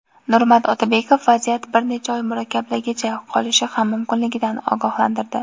Nurmat Otabekov vaziyat bir necha oy murakkabligicha qolishi ham mumkinligidan ogohlantirdi.